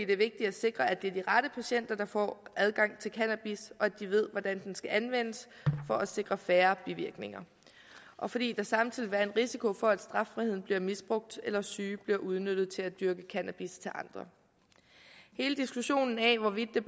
er vigtigt at sikre at det er de rette patienter der får adgang til cannabis og at de ved hvordan den skal anvendes for at sikre færre bivirkninger og fordi der samtidig vil være en risiko for at straffriheden bliver misbrugt eller at syge bliver udnyttet til at dyrke cannabis til andre hele diskussionen af hvorvidt det